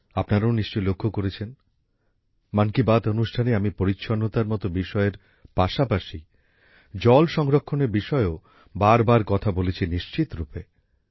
আপনারাও নিশ্চয় লক্ষ্য করেছেন মন কী বাত অনুষ্ঠানে আমি পরিচ্ছন্নতার মত বিষয়ের পাশাপাশি জল সংরক্ষণের বিষয়েও বারবার কথা বলেছি নিশ্চিতরূপে